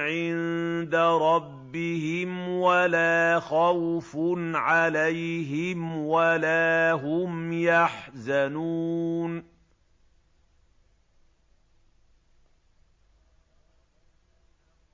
عِندَ رَبِّهِمْ وَلَا خَوْفٌ عَلَيْهِمْ وَلَا هُمْ يَحْزَنُونَ